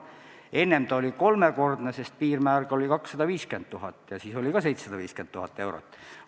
Enne oli see kunstiteoste puhul kolmekordne, piirmäär ise oli 250 000 eurot ja sellest tulenes 750 000 eurot.